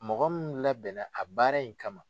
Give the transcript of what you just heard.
Mɔgɔ minnu labɛnna a baara in kama.